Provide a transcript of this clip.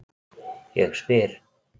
Ég spyr